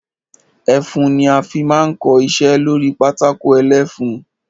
Ẹfun ni a fi máa ń kọ iṣẹ́ lórí pátákó ẹlẹ́fun.